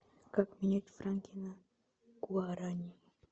как менять франки на гуарани